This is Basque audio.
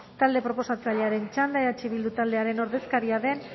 talde proposatzailearen txanda eh bildu taldearen ordezkaria den